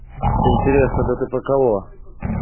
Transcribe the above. интересно дтп кого